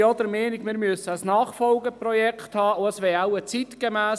Ich bin auch der Meinung, dass wir ein Nachfolgeprojekt haben müssen.